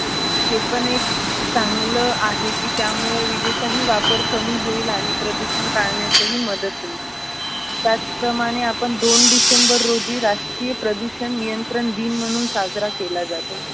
हे पण एक चांगल आहे की त्यामुळे विजेचाही वापर कमी होईल आणि प्रदूषण टाळण्याचही मदत होईल. त्याच प्रमाणे आपण दोन डिसेंबर रोजी राष्ट्रीय प्रदूषण नियंत्रण दिन म्हणून साजरा केला जातो.